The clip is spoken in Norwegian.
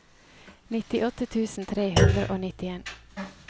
nittiåtte tusen tre hundre og nittien